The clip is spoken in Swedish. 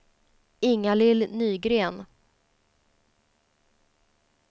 Inga-Lill Nygren